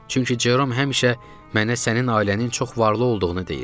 Çünki Jerom həmişə mənə sənin ailənin çox varlı olduğunu deyirdi.